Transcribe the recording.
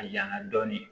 A yanga dɔɔni